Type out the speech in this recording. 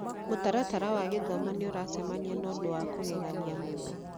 Mũtaratara wa gĩthomo nĩ ũracemania na ũndũ wa kũgegania mũno.